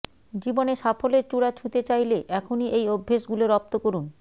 জীবনে সাফল্যের চূড়া ছুঁতে চাইলে এখনই এই অভ্যেসগুলো রপ্ত করুন